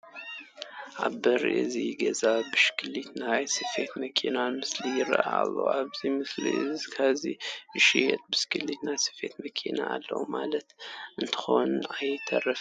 ኣብ በሪ እዚ ገዛ ብሽክሌታን ናይ ስፌት መኪናን ምስሊ ይርአዩ ኣለዉ፡፡ እዞም ምስሊ ኣብዚ ዝሽየጣ ብሽክሌትን ናይ ስፌት መኪና ኣለዋ ማለት እንተይኮነ ኣይተርፍን፡፡